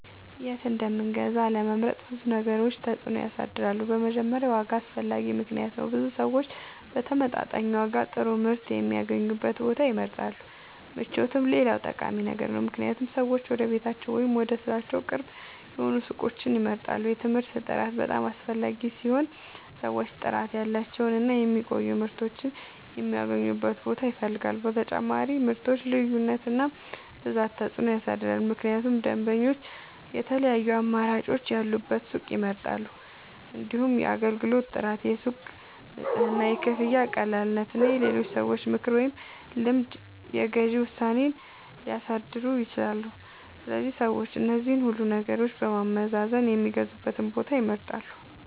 የት እንደምንገዛ ለመምረጥ ብዙ ነገሮች ተጽዕኖ ያሳድራሉ። በመጀመሪያ ዋጋ አስፈላጊ ምክንያት ነው፤ ብዙ ሰዎች በተመጣጣኝ ዋጋ ጥሩ ምርት የሚያገኙበትን ቦታ ይመርጣሉ። ምቾትም ሌላ ጠቃሚ ነገር ነው፣ ምክንያቱም ሰዎች ወደ ቤታቸው ወይም ወደ ሥራቸው ቅርብ የሆኑ ሱቆችን ይመርጣሉ። የምርቱ ጥራት በጣም አስፈላጊ ሲሆን ሰዎች ጥራት ያላቸውን እና የሚቆዩ ምርቶችን የሚያገኙበትን ቦታ ይፈልጋሉ። በተጨማሪም የምርቶች ልዩነት እና ብዛት ተጽዕኖ ያሳድራል፣ ምክንያቱም ደንበኞች የተለያዩ አማራጮች ያሉበትን ሱቅ ይመርጣሉ። እንዲሁም የአገልግሎት ጥራት፣ የሱቁ ንጽህና፣ የክፍያ ቀላልነት እና የሌሎች ሰዎች ምክር ወይም ልምድ የግዢ ውሳኔን ሊያሳድሩ ይችላሉ። ስለዚህ ሰዎች እነዚህን ሁሉ ነገሮች በማገናዘብ የሚገዙበትን ቦታ ይመርጣሉ።